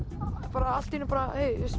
bara allt í einu